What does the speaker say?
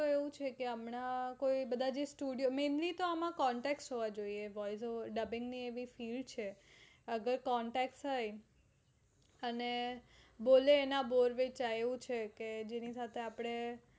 તો એવું છે કે એમના જે બધા જે studio તો આમ આતો તમારા contact હોય તો અને બોલે એના બોર વેચાય